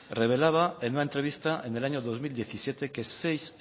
relevaba en una entrevista en el año dos mil diecisiete que seis